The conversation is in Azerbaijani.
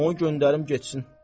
Onu göndərim getsin.